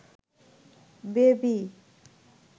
baby